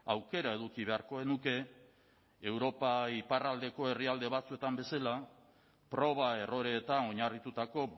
aukera eduki beharko genuke europa iparraldeko herrialde batzuetan bezala proba erroreetan oinarritutako